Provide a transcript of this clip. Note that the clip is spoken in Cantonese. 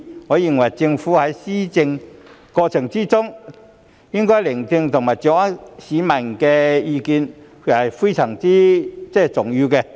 我認為政府在施政過程中應該聆聽和掌握市民的意見，這是非常重要的。